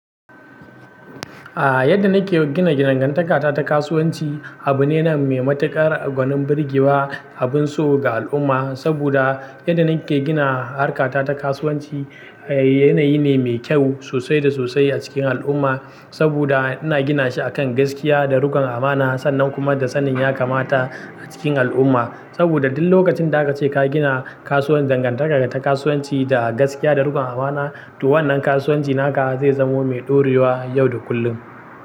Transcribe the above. A yadda nike gina gidajen dangantaka ta kasuwanci abu ne mai matuƙar gwanin birgewa abun so ga al'umma, saboda yadda nike gina harkar ta kasuwanci yanayi ne mai kyau sosai da sosai a cikin al'umma. Saboda ina gina shi akan gaskiya da riƙon amana sannan kuma da sanin ya kamata a cikin al'umma. Saboda duk lokacin da akace ka gina kasuwar dangantaka ta kasuwanci da gaskiya da riƙon amana to wannan kasuwanci naka zai zamo mai ɗorewa yau da kullum.